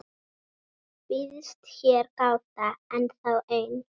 Býðst hér gáta ennþá ein,.